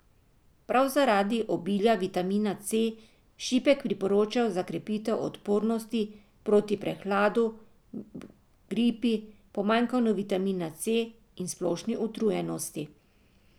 Prav zaradi obilja vitamina C šipek priporočajo za krepitev odpornosti, proti prehladu, gripi, pomanjkanju vitamina C in splošni utrujenosti.